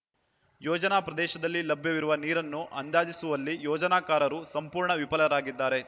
ಯೋಜನಾ ಪ್ರದೇಶದಲ್ಲಿ ಲಭ್ಯವಿರುವ ನೀರನ್ನು ಅಂದಾಜಿಸುವಲ್ಲಿ ಯೋಜನಾಕಾರರು ಸಂಪೂರ್ಣ ವಿಫಲರಾಗಿದ್ದಾರೆ